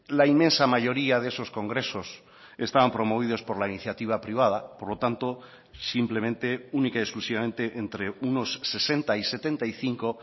la inmensa mayoría de esos congresos estaban promovidos por la iniciativa privada por lo tanto simplemente única y exclusivamente entre unos sesenta y setenta y cinco